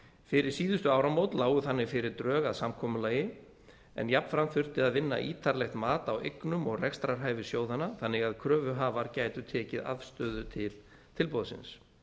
fyrir síðustu áramót lágu þannig fyrir drög að samkomulagi en jafnframt þurfti að vinna ítarlegt mat á eignum og rekstrarhæfi sjóðanna þannig að kröfuhafar gætu tekið afstöðu til tilboðsins